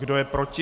Kdo je proti?